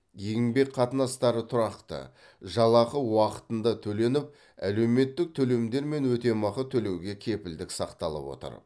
еңбек қатынастары тұрақты жалақы уақытында төленіп әлеуметтік төлемдер мен өтемақы төлеуге кепілдік сақталып отыр